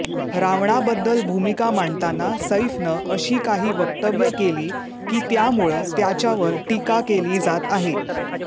रावणाबद्दल भूमिका मांडताना सैफनं अशी काही वक्तव्य केली की त्यामुळं त्याच्यावर टीका केली जात आहे